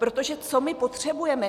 Protože, co my potřebujeme?